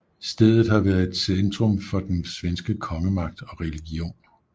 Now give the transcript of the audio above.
Stedet har været centurm for den svenske kongemagt og religion